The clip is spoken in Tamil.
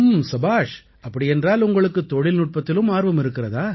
சபாஷ் அப்படியென்றால் உங்களுக்குத் தொழில்நுட்பத்திலும் ஆர்வம் இருக்கிறதா